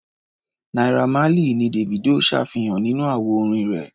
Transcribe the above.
Naira Marley ni Davido ṣàfihàn nínú àwo-orin rẹ̀.